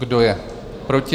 Kdo je proti?